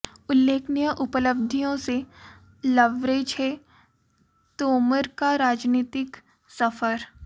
उल्लेखनीय उपलब्धियों से लबरेज है तोमर का राजनीतिक सफर